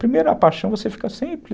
Primeiro, a paixão, você fica sempre...